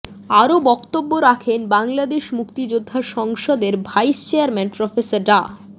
আরও বক্তব্য রাখেন বাংলাদেশ মুক্তিযোদ্ধা সংসদের ভাইস চেয়ারম্যান প্রফেসর ডা